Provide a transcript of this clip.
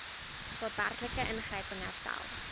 daadwerklike ingryping herstel